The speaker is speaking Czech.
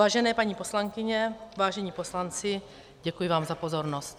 Vážené paní poslankyně, vážení poslanci, děkuji vám za pozornost.